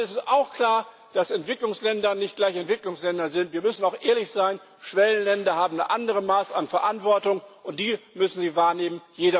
Es ist auch klar, dass Entwicklungsländer nicht gleich Entwicklungsländer sind. Wir müssen auch ehrlich sein Schwellenländer haben ein anderes Maß an Verantwortung, und die müssen sie wahrnehmen.